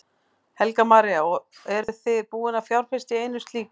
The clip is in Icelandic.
Helga María: Og eruð þið búin að fjárfesta í einu slíku?